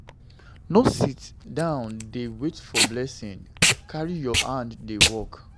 No sit down dey wait for blessing; carry your hand dey work.